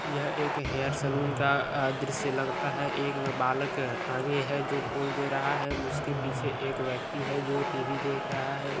येह एक hair salon का द्रिश्य लगता है एक बालक आगे है जो पोज़ दे रहा है उसके पीछे एक व्येक्ति है जो टी_भी देख रहा है।